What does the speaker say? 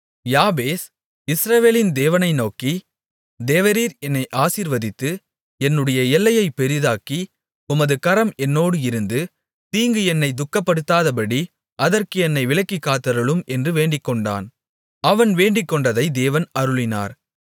யாபேஸ் இஸ்ரவேலின் தேவனை நோக்கி தேவரீர் என்னை ஆசீர்வதித்து என்னுடைய எல்லையைப் பெரிதாக்கி உமது கரம் என்னோடு இருந்து தீங்கு என்னை துக்கப்படுத்தாதபடி அதற்கு என்னை விலக்கிக் காத்தருளும் என்று வேண்டிக்கொண்டான் அவன் வேண்டிக்கொண்டதை தேவன் அருளினார்